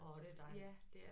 Åh det dejligt